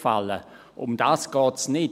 Darum geht es nicht.